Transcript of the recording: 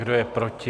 Kdo je proti?